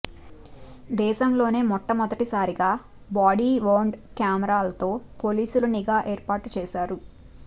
దేశంలోనే మొట్టమొదటిసారిగా body worn కెమెరాలతో పోలీసులు నిఘా ఏర్పాటు చేశారు